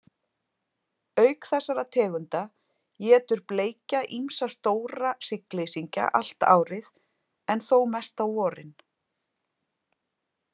Auk þessara tegunda étur bleikja ýmsa stóra hryggleysingja allt árið, en þó mest á vorin.